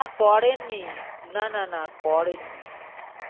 না করেননি না না না করেননি।